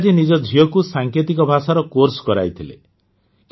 ଟିଙ୍କାଜୀ ନିଜ ଝିଅକୁ ସାଙ୍କେତିକ ଭାଷାର କୋର୍ସ କରାଇଥିଲେ